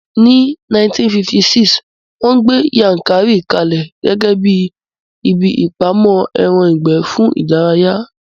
Ní 1956, wón gbé Yankari ka lẹ̀ gẹ́gẹ́bíi ibi ìpamọ́ ẹran ìgbẹ́ fún ìdárayá